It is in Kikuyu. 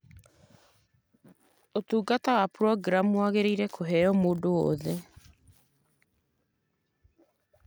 ũtungata wa programu wagĩrĩĩre kuheo mũndũ o wothe.